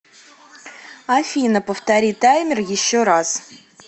афина повтори таймер еще раз